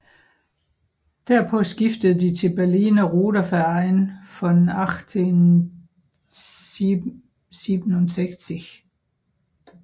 Derpå skiftede de til Berliner Ruderverein von 1876